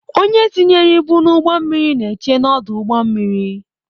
Onye tinyere ibu n'ụgbọ mmiri na-eche n'ọdụ ụgbọ mmiri.